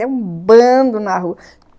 É um bando na rua!